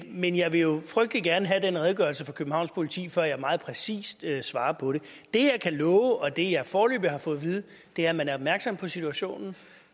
men jeg vil jo frygtelig gerne have den redegørelse fra københavns politi før jeg meget præcist svarer på det det jeg kan love og det jeg foreløbig har fået vide er at man er opmærksom på situationen